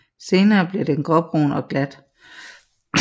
Senere bliver den gråbrun og glat